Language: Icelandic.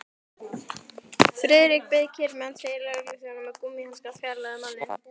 Friðrik beið kyrr meðan tveir lögregluþjónar með gúmmíhanska fjarlægðu manninn.